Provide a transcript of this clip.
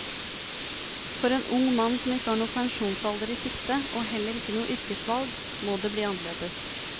For en ung mann som ikke har noen pensjonsalder i sikte, og heller ikke noe yrkesvalg, må det bli annerledes.